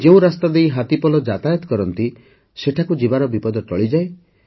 ଯେଉଁ ରାସ୍ତା ଦେଇ ହାତୀପଲ ଯାତାୟାତ କରନ୍ତି ସେଠାକୁ ଯିବାର ବିପଦ ଟଳିଯାଏ